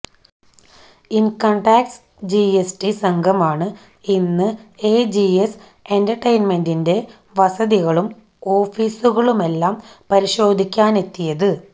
income tax GST സംഘമാണ് ഇന്ന് AGS എന്റര്ടെയിന്മെന്റിന്റെ വസതികളും ഓഫീസുകളുമെല്ലാം പരിശോധിക്കാനെത്തിയത്